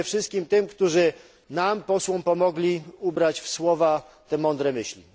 Dziękuję wszystkim tym, którzy nam posłom pomogli ubrać w słowa te mądre myśli.